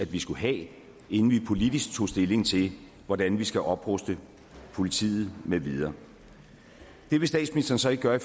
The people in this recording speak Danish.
vi skulle have inden vi politisk tog stilling til hvordan vi skal opruste politiet med videre det vil statsministeren så ikke gøre